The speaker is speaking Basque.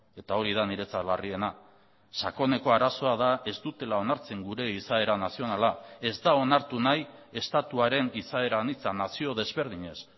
eta hori da niretzat larriena sakoneko arazoa da ez dutela onartzen gure izaera nazionala ez da onartu nahi estatuaren izaera anitza nazio desberdinez